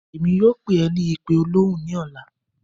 Èmí yóò pe é ní ipe òlọhun ni ọla